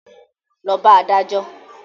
Lọ bá adájọ́!